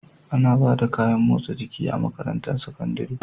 Ana Bada kayan motsa jiki a makarantar sakandari